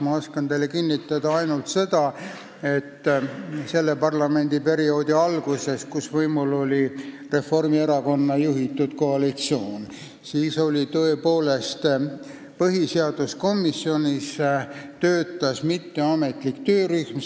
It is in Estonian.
Ma oskan teile kinnitada ainult seda, et selle parlamendiperioodi alguses, kui võimul oli Reformierakonna juhitud koalitsioon, töötas põhiseaduskomisjonis tõepoolest mitteametlik töörühm.